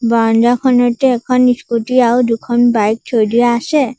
বাৰাণ্ডাখনতে এখন স্কুটী আও দুখন বাইক থৈ দিয়া আছে।